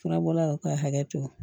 Furabɔlaw ka hakɛ to